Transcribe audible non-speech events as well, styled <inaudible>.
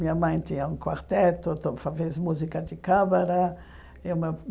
Minha mãe tinha um quarteto, <unintelligible> fazia música de câmara. E o meu